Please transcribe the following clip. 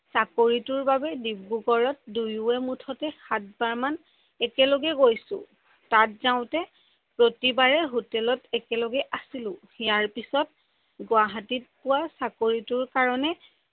চাকৰিটোৰ সময়ত দিব্ৰুগৰত দুয়োয়ে মুঠতে সাত বাৰ মান একে লগে গৈছো। তাত যাওতে প্ৰতিবাৰে হোটেলত একে লগে আছিলো। এয়াৰ পিছত গুৱাহাটীত পোৱা চাকৰিটোৰ কাৰনে